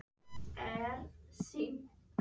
Við sögðum þeim að þú værir í Reykjavík.